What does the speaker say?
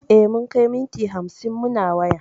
E, mun kai minti hamsin muna waya.